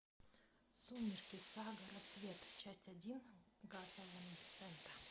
сумерки сага рассвет часть один гаса ван сента